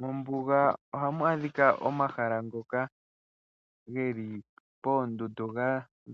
Mombuga ohamu adhika omahala ngoka geli poondundu ga